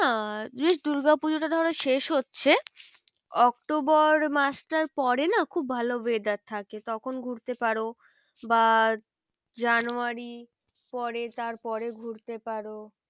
বেশ দূর্গা পুজোটা ধরো শেষ হচ্ছে অক্টোবর মাসটার পরে না খুব ভালো weather থাকে তখন ঘুরতে পারো বা জানুয়ারী পরে তার পরে ঘুরতে পারো।